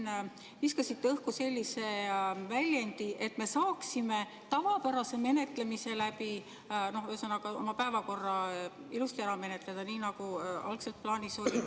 Te viskasite siin õhku sellise väljendi, et me saaksime tavapärase menetlemisega, ühesõnaga, oma päevakorra ilusti ära menetleda, nii nagu algselt plaanis oli.